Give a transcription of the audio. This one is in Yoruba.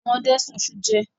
Àwọn ọdẹ sun iṣu jẹ.